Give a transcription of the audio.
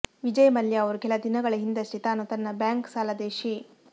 ವಿಜಯ್ ಮಲ್ಯ ಅವರು ಕೆಲ ದಿನಗಳ ಹಿಂದಷ್ಟೇ ತಾನು ತನ್ನ ಬ್ಯಾಂಕ್ ಸಾಲದ ಶೇ